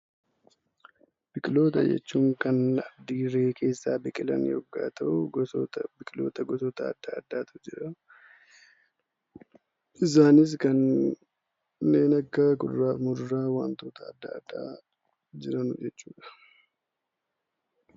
Biqiloota jechuun kan dirree keessaa biqilan yommuu ta'u, biqiloota gosoota adda addaatu jira. Isaanis kanneen akka muduraa wantoota adda addaa jiran jechuudha.